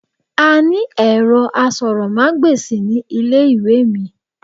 A ni èro asòròmágbèsì ní ilé ìwé mi